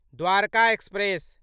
Dwarka express